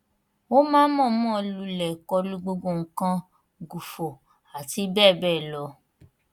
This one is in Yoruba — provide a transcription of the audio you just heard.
ó máa ń mọ̀ọ́nmọ̀ lulẹ̀ kọlu gbogbo nǹkan gù fọ àti bẹ́ẹ̀ bẹ́ẹ̀ lọ